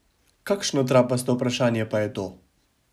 Kakšno trapasto vprašanje pa je to?